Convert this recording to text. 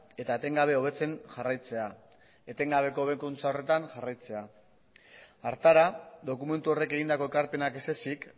eta etengabe hobetzen jarraitzea etengabeko hobekuntza horretan jarraitzea hartara dokumentu horrek egindako ekarpenak ezezik